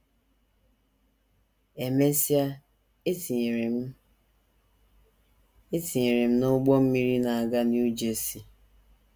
“ E mesịa, e tinyere m e tinyere m n’ụgbọ mmiri na - aga New Jersey.